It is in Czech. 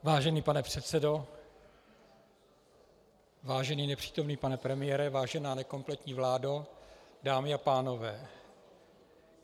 Vážený pane předsedo, vážený nepřítomný pane premiére, vážená nekompletní vládo, dámy a pánové.